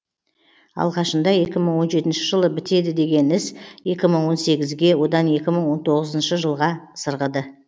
алғашында екі мың он жетінші жылы бітеді деген іс екі мың он сегізге одан екі мың он тоғызыншы жылға сырғыды